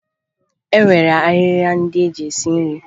E nwere ahịhịa ndị eji esi nri